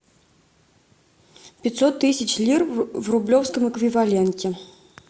пятьсот тысяч лир в рублевском эквиваленте